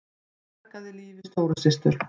Bjargaði lífi stóru systur